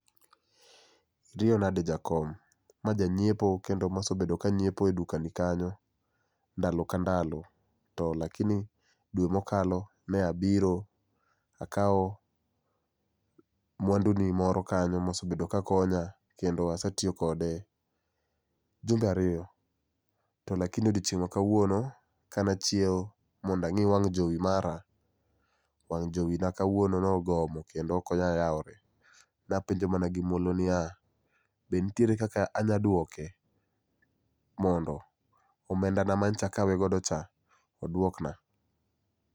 Iriyo nade jakom? Ma jang'iepo kendo mosebedo kang'iepo e dukani kanyo, ndalo ka ndalo. To lakini dwe mokalo ne abiro akawo mwanduni moro kanyo mosebedo kakonya kendo asetiyo kode jumbe ariyo. To lakini odiengieng' ma kawuono ka ne achiew mondo ang'i wang' jowi mara, wang' jowi na kawuono nogomo kendo okonyal yawre. Napenjo mana gimuolo ni ya, be nitiere ka anya duoke mondo, omenda ma nyocha akawe godo cha oduokna?